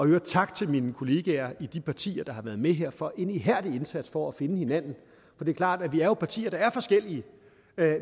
øvrigt tak til mine kolleger i de partier der har været med her for en ihærdig indsats for at finde hinanden det er klart at vi er partier der er forskellige